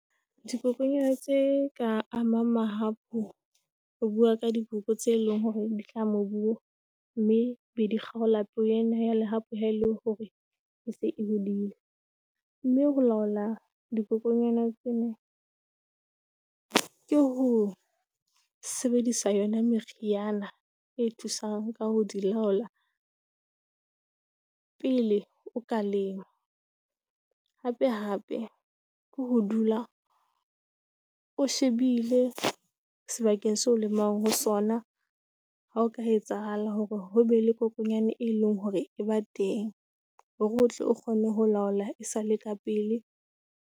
Dikokonyana tse ka amang mahapu re bua ka diboko tseo e leng hore di hlaha mobung mme be di kgaola peo ena ya lehapu ha e le hore e se bolaile mme ho laola dikokonyana tsena ke ho sebedisa yona meriana e thusang ka ho di laola pele o ka lema hapehape ke ho dula o shebile sebakeng seoo lemang ho sona. Ha o ka etsahala hore ho be le kgokonyana e leng hore e ba teng hore o tle o kgone ho laola esale ka pele.